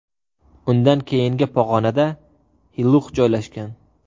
Undan keyingi pog‘onada Hilux joylashgan.